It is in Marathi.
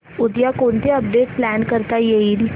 उद्या कोणतं अपडेट प्लॅन करता येईल